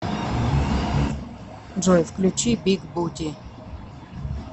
джой включи биг бути